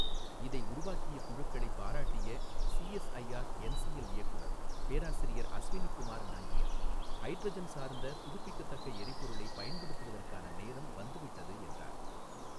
இதை உருவாக்கிய குழுக்களை பாராட்டிய சிஎஸ்ஐஆர் என்சிஎல் இயக்குநர் பேராசிரியர் அஸ்வினி குமார் நாங்கியா, ஹைட்ரஜன் சார்ந்த புதுப்பிக்கத்தக்க எரிபொருளை பயன்படுத்துவதற்கான நேரம் வந்துவிட்டது, என்றார்.